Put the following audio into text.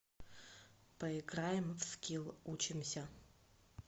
поиграем в скилл учимся